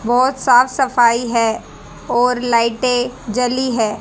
बहुत साफ सफाई है और लाइटें जली है।